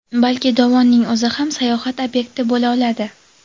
balki dovonning o‘zi ham sayohat ob’yekti bo‘la oladi.